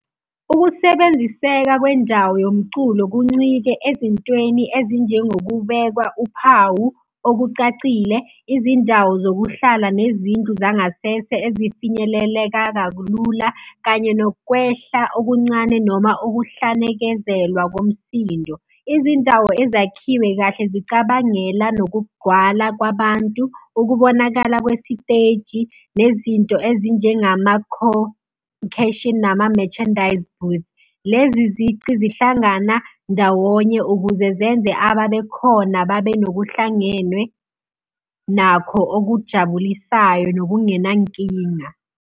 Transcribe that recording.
Ukusebenziseka kwendawo yomculo kuncike ezintweni ezinjengokubekwa uphawu okucacile, izindawo zokuhlala, nezindlu zangasese ezifinyeleleka kalula kanye nokwehla okuncane noma ukuhlanekezelwa komsindo. Izindawo ezakhiwe kahle zicabangela nokugcwala kwabantu, ukubonakala kwesiteji, nezinto ezinjengama , nama-merchandise goods. Lezi ziqi zihlangana ndawonye ukuze zenze ababe khona babe nokuhlangenwe nakho okujabulisayo nokungenankinga.